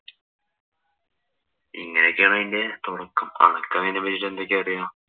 ഇങ്ങനെയൊക്കെയാണ് അതിന്‍റെ തൊടക്കം. അനക്ക് അതിനെ പറ്റീട്ട് എന്തൊക്കെ അറിയാം?